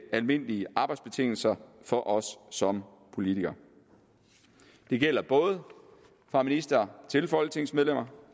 almindelige arbejdsbetingelser for os som politikere det gælder både fra ministre til folketingsmedlemmer